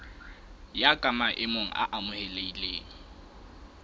ya ka maemo a amohelehileng